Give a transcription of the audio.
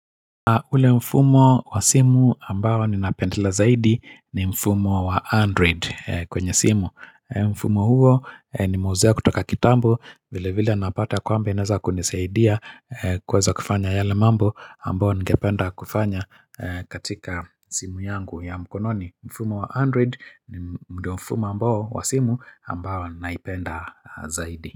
Ule mfumo wa simu ambao ni napendela zaidi ni mfumo wa Android kwenye simu. Mfumo huo ni meuzia kutoka kitambo vile vile napata kwamba inaweza kunisaidia kuweza kufanya yale mambo ambao ningependa kufanya katika simu yangu ya mkononi. Mfumo wa Android ni ndiyo mfumo ambao wa simu ambao naipenda zaidi.